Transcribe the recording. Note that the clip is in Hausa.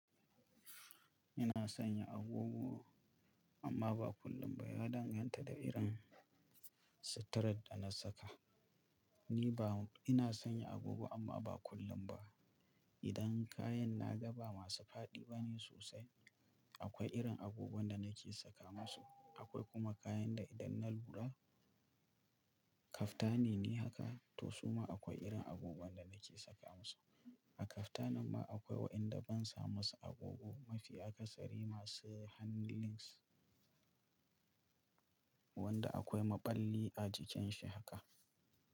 Ina sanya agogo amma ba kullum ba. Ya danganta da irin suturar da na saka. Ni ba-- ina sanya agogo amma ba kullum ba. Idan kayan na gaba masu faɗi bane sosai, akwai irin agogon da nake saka musu. Akwai kuma kayan da idan na lura kaftani ne haka, to su ma akwai irin agogon da nake saka musu. A kaftanin ma akwai wayanda ban sa musu agogo. Mafi akasari masu handlings, wanda akwai maɓalli a jikin shi haka.